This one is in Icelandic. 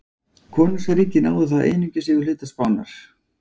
Konungsríkið náði þá einungis yfir hluta Spánar.